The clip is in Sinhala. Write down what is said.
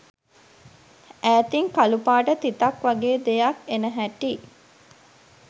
ඈතින් කළුපාට තිතක් වගේ දෙයක් එන හැටි